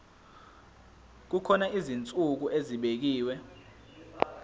kukhona izinsuku ezibekiwe